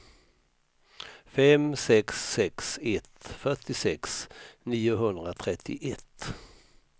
fem sex sex ett fyrtiosex niohundratrettioett